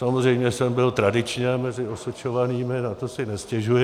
Samozřejmě jsem byl tradičně mezi osočovanými, na to si nestěžuji.